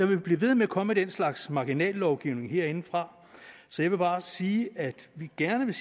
vil blive ved med at komme den slags marginallovgivning herindefra så jeg vil bare sige at vi gerne vil